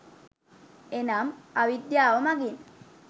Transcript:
එනම් අවිද්‍යාව මඟින්